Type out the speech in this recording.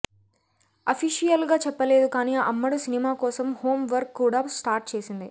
official గా చెప్పలేదు కాని అమ్మడు సినిమా కోసం హోం వర్క్ కూడా స్టార్ట్ చేసింది